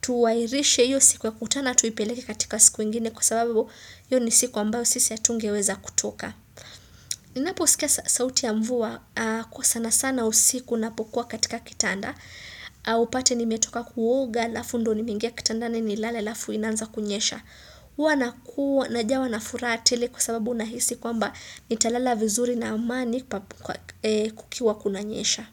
tuwairishe hiyo siku ya kutana tuipeleke katika siku ingine kwa sababu yu ni siku ambayo sisi ya hatungeweza kutoka. Ninapo usikia sauti ya mvua kwa sana sana usiku napokuwa katika kitanda upate nimetoka kuwoga lafu ndo nimeingea kitandani ni lale alafu inanza kunyesha Uwa nakuwa najawa na furaha tele kwa sababu nahisi kwa mba nitalala vizuri na amani kukiwa kunanyesha.